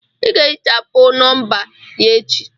Ị ga-ehichapụ nọmba ya echi!